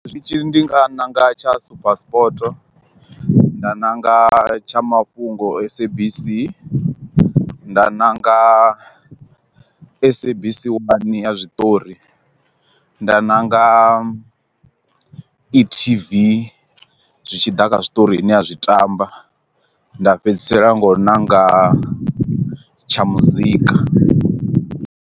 Zwitshili ndi nga ṋanga tsha super sport nda ṋanga tsha mafhungo s_a_b_c, nda ṋanga s_a_b_c one ya zwiṱori, nda nanga e_t_v zwi tshi ḓa kha zwiṱori ine a zwi tamba nda fhedzisela nga u ṋanga tsha muzika.